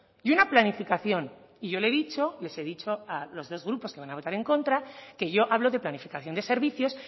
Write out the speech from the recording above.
y una planificación y yo le he dicho les he dicho a los dos grupos que van a votar en contra que yo hablo de planificación de servicios